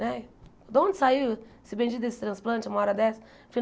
Né de onde saiu esse bendito desse transplante uma hora dessa?